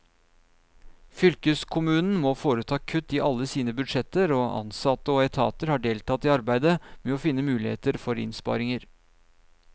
Fylkeskommunen må foreta kutt i alle sine budsjetter, og ansatte og etater har deltatt i arbeidet med å finne muligheter for innsparinger.